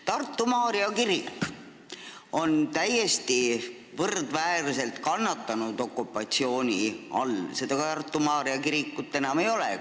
Tartu Maarja kirik on täiesti võrdväärselt okupatsiooni all kannatanud, seda kirikut enam ei ole.